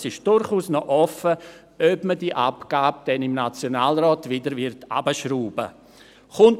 Es ist durchaus noch offen, ob man die Abgabe dann im Nationalrat wieder herunterschrauben wird.